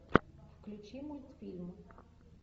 включи мультфильм